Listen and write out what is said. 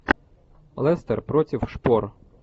лестер против шпор